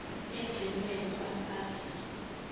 egcinwe kwa sars